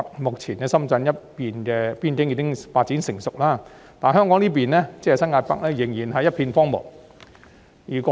目前深圳那一面的邊境已經發展成熟，但香港新界北這一邊仍然是一片荒蕪。